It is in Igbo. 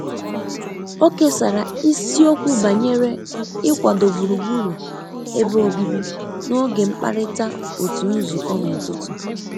o kesara ịsiokwu banyere ikwado gburugburu ebe obibi n'oge mkparịta otu nzukọ n'ụtụtụ.